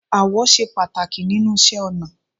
Ààwọ̀ ṣe pàtàkì nínú iṣẹ́ ọnà